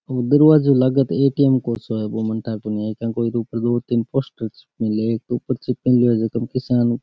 ओ दरवाज़ों लाग तो ए.टी.एम. को सो है बो मने ठा कोनी के को है ऊपर दो तीन पोस्टर सा चिप मेल्या है एक तो ऊपर चेप मेल्यो है जीका में किसान --